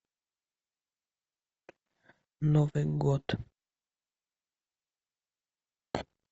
новый год